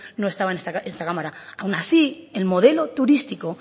no estaba en esta cámara aun así el modelo turístico